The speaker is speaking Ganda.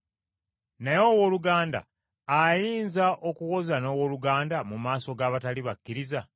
Naye owooluganda ayinza okuwoza n’owooluganda mu maaso g’abatali bakkiriza?